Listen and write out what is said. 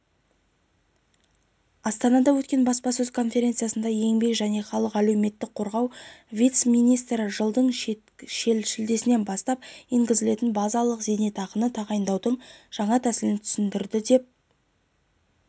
астанада өткен баспасөз-конференциясында еңбек және халықты әлеуметтік қорғау вице-министрі жылдың шілдесінен бастап енгізілетін базалық зейнетақыны тағайындаудың жаңа тәсілін түсіндірді деп